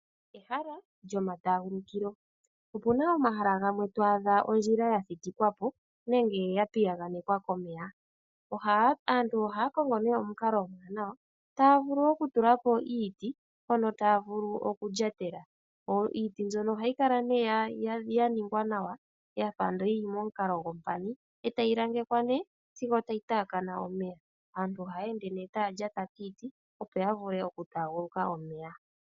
Ehala lyoma taagulukilo Opuna omahala gamwe twaadha ondjila ya thitikwa po nenge ya piyaganekwa komeya. Aantu ohaya kongo nee omukalo omwaanawa taya vulu okutula po iiti mpono taya vulu okulyatela. Iiti mbyono ohayi kala nee ya ningwa nawa yafa andola yili momukalo gompani, etayi langekwa nee sigo tayi taakana omeya. Aantu ohaya ende nee taya lyata kiiti opo ya vule oku taaguluka omeya.